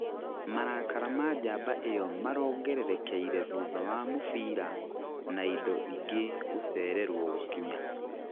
marakara ma njamba ĩyo marongererekeire thutha wa mũbira na ĩndo ingĩ gũcererwo gũkinya.